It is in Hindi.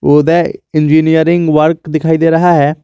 उदय इंजीनियरिंग वर्क दिखाई दे रहा है।